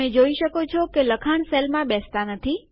તમે જોઈ શકો છો કે લખાણ સેલ માં બેસતા નથી